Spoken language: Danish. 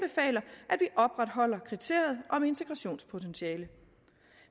opretholder kriteriet om integrationspotentiale